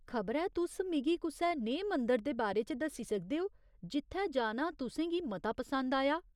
खबरै तुस मिगी कुसै नेहे मंदर दे बारे च दस्सी सकदे ओ जित्थै जाना तु'सें गी मता पसंद आया।